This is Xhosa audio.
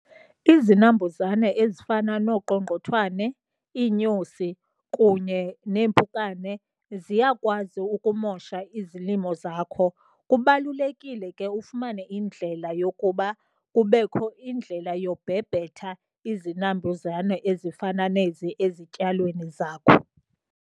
Izinambuzane ezifana nooqongqothwane iinyosi kunye neempukane ziyakwazi ukumosha izilimo zakho. Kubalulekile ke ufumane indlela yokuba kubekho indlela yobhebhetha izinambuzane ezifana nezi ezityalweni zakho.